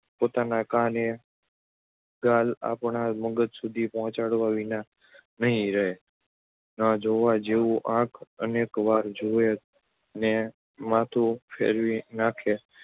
પોતાના કાન એ ગાળ આપણા મગજ સુધી પહોંચાડ્યા વિના નહિ રહે. ન જોવા જેવું આંખ અનેક વાર જુએ ને માથું ફેરવી નાખે